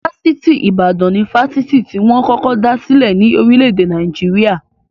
Fáṣítì Ìbàdàn ni Fásitì tí wọn kọ́kọ́ dá sílè ní orílè-èdè Naijiria.